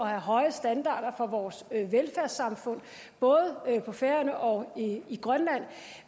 have høje standarder for vores velfærdssamfund både på færøerne og i grønland